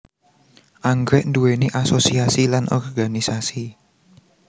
Anggrèk nduwéni asosiasi lan organisasi